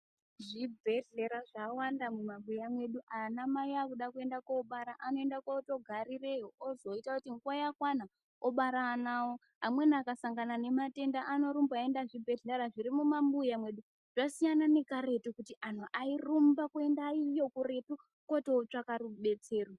Zvibhedhleya zvawanda mumabuya mwedu anamai akuda kuende kobara anoenda kondogarireyo ozoita kuti nguwa yakwana obara ana awo amweni akasangana nematenda anorumba eienda kuzvibhedhleya zviri mumabuya mwedu zvasiyana nekaretu kuti antu airumba kuenda iyo kuretu koti otsvaga rubetsero.